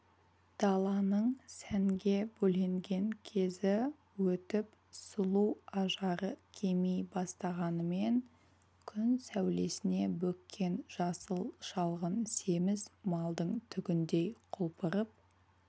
даланың сәнге бөленген кезі өтіп сұлу ажары кеми бастағанымен күн сәулесіне бөккен жасыл шалғын семіз малдың түгіндей құлпырып